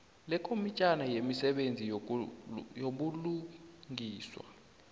yekomitjhana yemisebenzi yobulungiswa